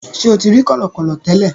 Ṣe o ti ri kọlọkọlọ tẹlẹ?